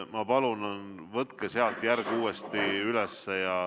Ma palun, võtke sealt järg uuesti üles.